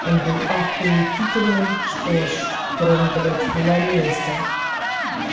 он был охуетительный что аж прям блять ломился